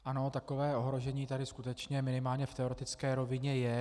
Ano, takové ohrožení tady skutečně minimálně v teoretické rovině je.